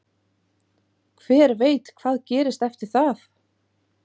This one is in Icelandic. Hver veit hvað gerist eftir það?